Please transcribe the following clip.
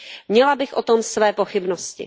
Měla bych o tom své pochybnosti.